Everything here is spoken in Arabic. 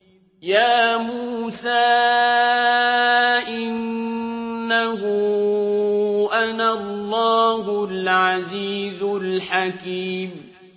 يَا مُوسَىٰ إِنَّهُ أَنَا اللَّهُ الْعَزِيزُ الْحَكِيمُ